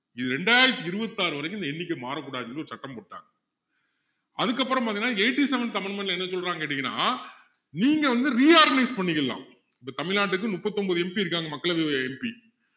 இது ரெண்டாயிரத்து இருபத்து ஆறு வரைக்கும் இந்த எண்ணிக்கை மாறக்கூடாதுன்னு ஒரு சட்டம் போட்டாங்க அதுக்கப்பறம் பாத்தீங்கன்னா eighty-seventh amendment ல என்ன சொல்றாங்கன்னு கேட்டீங்கன்னா நீங்க வந்து reorganize பண்ணிக்கலாம் இப்போ தமிழ்நாட்டுக்கு முப்பத்தொன்பது MP இருக்காங்க மக்களவை MP